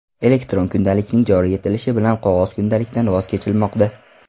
Elektron kundalikning joriy etilishi bilan qog‘oz kundalikdan voz kechilmoqda.